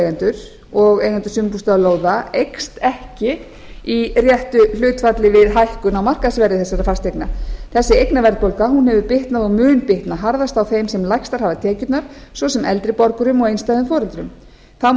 sumarhúsaeigendur og eigendur sumarbústaðalóða eykst ekki í réttu hlutfalli við hækkun á markaðsverði þessara fasteigna þessi eignaverðbólga hefur bitnað og mun bitna harðast á þeim sem lægstar hafa tekjurnar svo sem eldri borgurum og einstæðum foreldrum þá má